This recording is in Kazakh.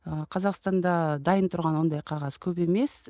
ы қазақстанда дайын тұрған ондай қағаз көп емес